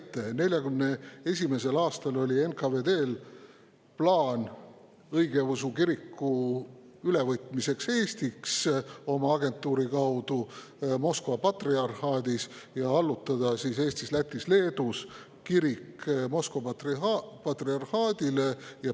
1941. aastal oli NKVD‑l plaan võtta õigeusu kirik Eestis oma agentuuri kaudu Moskva patriarhaadis üle ja allutada Eestis, Lätis ja Leedus kirik Moskva patriarhaadile.